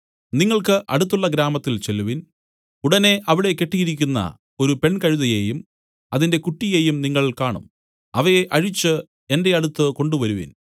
നിങ്ങൾക്ക് അടുത്തുള്ള ഗ്രാമത്തിൽ ചെല്ലുവിൻ ഉടനെ അവിടെ കെട്ടിയിരിക്കുന്ന ഒരു പെൺകഴുതയെയും അതിന്റെ കുട്ടിയെയും നിങ്ങൾ കാണും അവയെ അഴിച്ച് എന്റെ അടുത്തു കൊണ്ടുവരുവിൻ